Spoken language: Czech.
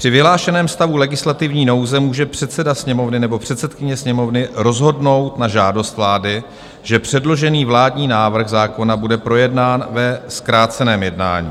"Při vyhlášeném stavu legislativní nouze může předseda Sněmovny nebo předsedkyně Sněmovny rozhodnout na žádost vlády, že předložený vládní návrh zákona bude projednán ve zkráceném jednání.